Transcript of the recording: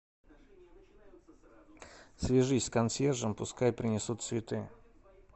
свяжись с консьержем пускай принесут цветы